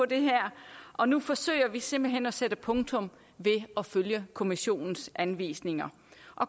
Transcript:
det her og nu forsøger vi simpelt hen at sætte punktum ved at følge kommissionens anvisninger